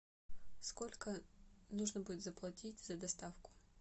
сколько нужно будет заплатить за доставку